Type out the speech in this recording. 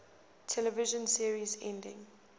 television series endings